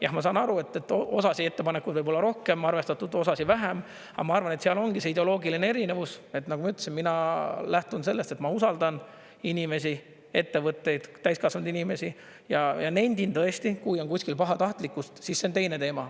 Jah, ma saan aru, et osasid ettepanekuid võib-olla on rohkem arvestatud, osasid vähem, aga ma arvan, et seal ongi see ideoloogiline erinevus, et nagu ma ütlesin, mina lähtun sellest, et ma usaldan inimesi, ettevõtteid, täiskasvanud inimesi ja nendin tõesti, kui on kuskil pahatahtlikkust, siis see on teine teema.